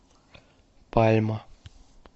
пальма